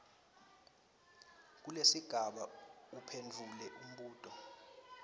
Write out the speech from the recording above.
kulesigaba uphendvule umbuto